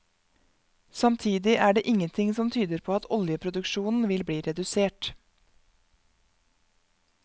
Samtidig er det ingenting som tyder på at oljeproduksjonen vil bli redusert.